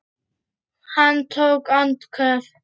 Hann tók andköf.